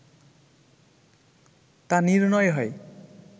তা নির্ণয় হয়